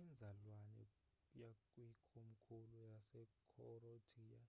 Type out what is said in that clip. inzalelwane yakwikomkhulu lasecroatia